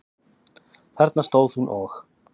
Þarna stóð hún og.